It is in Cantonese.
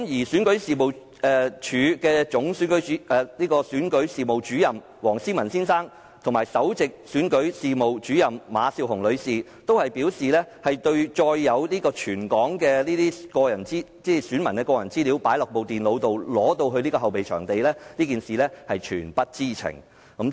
選舉事務處總選舉事務主任黃思文先生和首席選舉事務主任馬笑虹女士均表示，對載有全港選民個人資料的電腦被帶到後備場地一事全不知情。